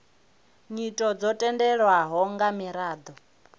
nyito dzo tendelwaho nga miraḓo